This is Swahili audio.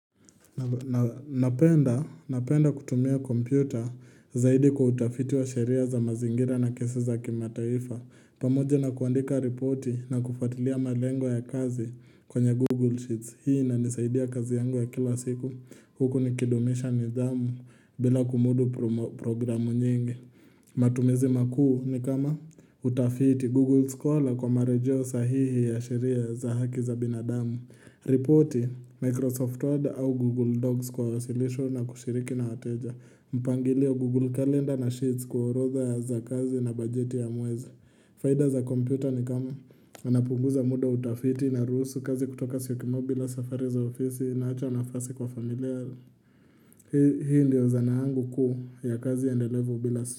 Na penda kutumia kompyuta zaidi kwa utafiti wa sheria za mazingira na kesi za kimataifa pamoja na kuandika repoti na kufatilia malengo ya kazi kwenye Google Sheets Hii na nisaidia kazi yangu ya kila siku huku nikidumisha nidhamu bila kumudu programu nyingi matumizi makuu ni kama utafiti Google Scholar kwa marejo sahihi ya sheria za haki za binadamu Repoti Microsoft Word au Google Docs kwa wasilisho na kushiriki na wateja mpangilio Google Calendar na Sheets kwa orotha za kazi na bajeti ya mweza faida za computer ni kama anapunguza muda utafiti na rusu kazi kutoka siyokimau bila safari za ofisi na hacha nafasi kwa familia Hii ndio zanaangu kuu ya kazi ya ndelevo bila.